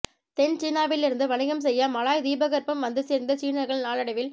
தென் சீனாவிலிருந்து வணிகம் செய்ய மலாய் தீபகற்பம் வந்து சேர்ந்த் சீனர்கள் நாளடைவில்